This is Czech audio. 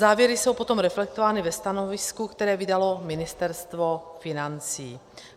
Závěry jsou potom reflektovány ve stanovisku, které vydalo Ministerstvo financí.